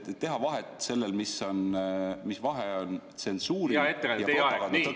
Palun teha vahet sellel, mis vahe on tsensuuril ja propaganda tõkestamisel.